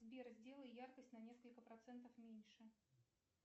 сбер сделай яркость на несколько процентов меньше